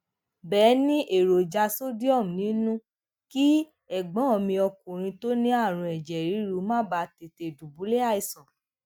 béè ní èròjà sodiọmu nínú kí ègbón mi ọkùnrin tó ní àrùn èjè ríru má bàa tètè dubulẹ aisan